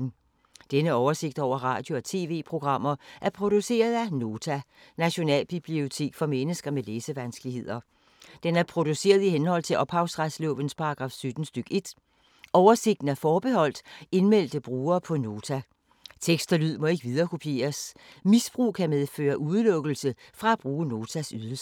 Denne oversigt over radio og TV-programmer er produceret af Nota, Nationalbibliotek for mennesker med læsevanskeligheder. Den er produceret i henhold til ophavsretslovens paragraf 17 stk. 1. Oversigten er forbeholdt indmeldte brugere på Nota. Tekst og lyd må ikke viderekopieres. Misbrug kan medføre udelukkelse fra at bruge Notas ydelser.